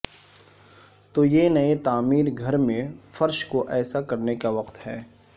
تو یہ نئے تعمیر گھر میں فرش کو ایسا کرنے کا وقت ہے